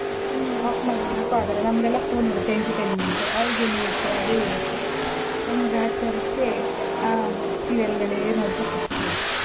off ಮಾಡಿ ಅನ್ನೋಕು ಆಗಲ್ಲ ನಮ್ಗೆಲ್ಲಾ phone ಇರುತ್ತೆ entertainment ಅವ್ರಿಗ್ ಏನ್ ಇರುತ್ತೆ ಅದೇ ಇರುತ್ತೆ ಗ್ರಹಚಾರಕ್ಕೆ ಆ serial ಗಳೇ ನೋಡ್ತಾ ಕೂತ್ಕೋಬೇಕು.